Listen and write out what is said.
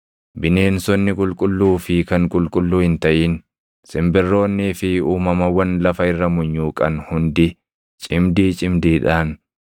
Bineensonni qulqulluu fi kan qulqulluu hin taʼin, simbirroonnii fi uumamawwan lafa irra munyuuqan hundi, cimdii cimdiidhaan,